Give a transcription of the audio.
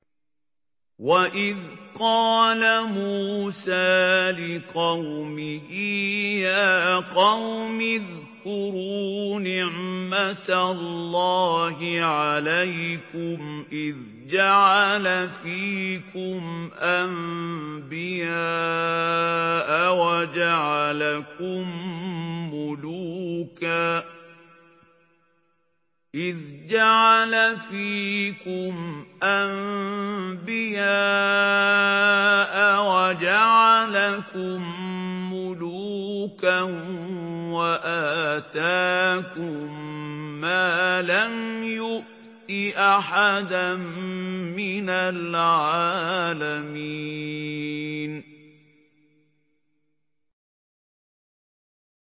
وَإِذْ قَالَ مُوسَىٰ لِقَوْمِهِ يَا قَوْمِ اذْكُرُوا نِعْمَةَ اللَّهِ عَلَيْكُمْ إِذْ جَعَلَ فِيكُمْ أَنبِيَاءَ وَجَعَلَكُم مُّلُوكًا وَآتَاكُم مَّا لَمْ يُؤْتِ أَحَدًا مِّنَ الْعَالَمِينَ